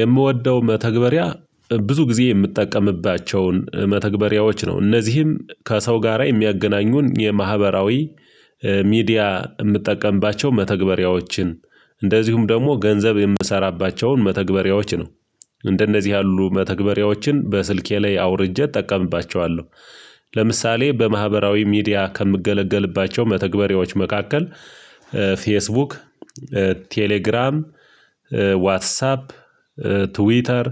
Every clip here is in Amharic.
የምወደው መተግበሪያ ብዙ ጊዜ የምጠቀምባቸውን መተግበሪያዎች ነው እነዚህም ከሰው ጋራ የሚያገናኙን የማህበራዊ ሚዲያ እምጠቀምባቸው መተግበሪያዎችን እንደዚሁም ደግሞ ገንዘብ የምሰራባቸውን መተግበሪያዎች ነው እንደነዚህ ያሉ መተግበሪያዎችን በስልኬ ላይ አውርጄ እጠቀምባቸዋለሁ። ለምሳሌ በማህበራዊ ሚዲያ ከምገለገልባቸው መተግበሪያዎች መካከል ፌስቡክ ቴሌግራም ዋትሳፕ ትዊተር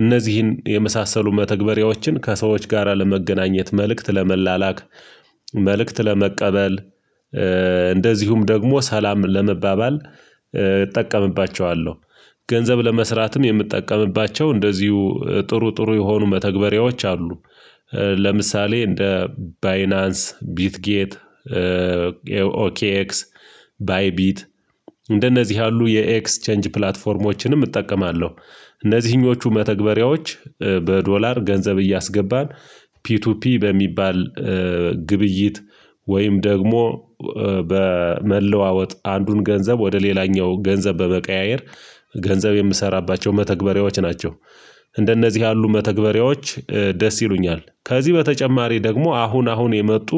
እነዚህን የመሳሰሉ መተግበሪያዎችን ከሰዎች ጋራ ለመገናኘት መልእክት ለመላላክ መልእክት ለመቀበል እንደዚሁም ደግሞ ሰላም ለመባባል እጠቀምባቸዋለሁ። ገንዘብ ለመስራትም የምጠቀምባቸው እንደዚሁ ጥሩ ጥሩ የሆኑ መተግበሪያዎች አሉ። ለምሳሌ እንደ ባይናንስ ቢትጌት ኦኬኤክስ ባይቢት እንደነዚህ ያሉ የኤክስ ቼንጅ ፕላትፎርሞችንም እጠቀማለሁ። እነዚህኞቹ መተግበሪያዎች በዶላር ገንዘብ እያስገባን ፒቱፒ በሚባል ግብይት ወይም ደግሞ በመለዋወጥ አንዱን ገንዘብ ወደ ሌላኛው ገንዘብ በመቀያየር ገንዘብ የምሰራባቸው መተግበሪያዎች ናቸው። እንደነዚህ ያሉ መተግበሪያዎች ደስ ይሉኛል ከዚህ በተጨማሪ ደግሞ አሁን አሁን የመጡ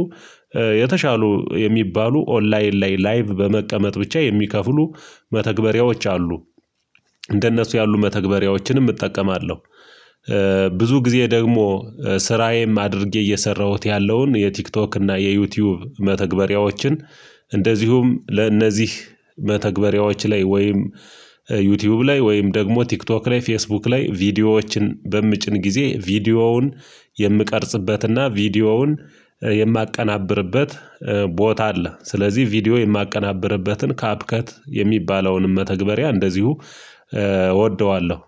የተሻሉ የሚባሉ ኦንላይን ላይ ላይቭ በመቀመጥ ብቻ የሚከፍሉ መተግበሪያዎች አሉ። እንደነሱ ያሉ መተግበሪያዎችንም እጠቀማለሁ። ብዙ ጊዜ ደግሞ ስራዬም አድርጌ እየሰራሁት ያለውን የቲክቶክ እና የዩቲዩብ መተግበሪያዎችን እንደዚሁም ለእነዚህ መተግበሪያዎች ላይ ወይም ዩቲብ ላይ ወይም ደግሞ ቲክቶክ ላይ ፌስቡክ ላይ ቪዲዮዎችን በምጭን ጊዜ ቪዲዮውን የምቀርጽበትና ቪዲዮውን የማቀናብርበት ቦታ አለ። ስለዚህ ቪዲዮ የማቀናብርበትን ካፕከት የሚባለውንም መተግበሪያ እንደዚሁ እወደዋለሁ